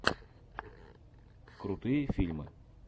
крутые фильмы